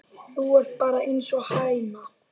Þú ert bara einsog hæna.